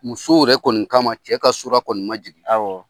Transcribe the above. Musow yɛrɛ kɔni kama cɛ ka sura kɔnni ma jigi. Awɔ.